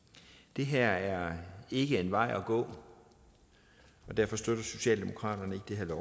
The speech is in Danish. det her er ikke en vej at gå og derfor støtter socialdemokraterne ikke det her